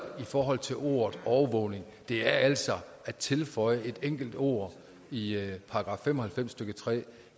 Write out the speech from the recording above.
i forhold til ordet overvågning det er altså at tilføje et enkelt ord i § fem og halvfems stykke tre